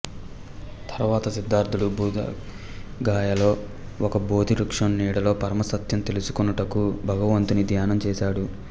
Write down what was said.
తర్వాత సిద్ధార్ధుడు బుద్ధగయలో ఒక బోధి వృక్షం నీడలో పరమ సత్యం తెలుసుకొనుటకు భగవంతుని ధ్యానం చేశాడు